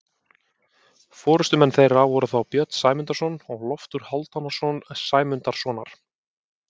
Forystumenn þeirra voru þá Björn Sæmundarson og Loftur Hálfdanarson Sæmundarsonar.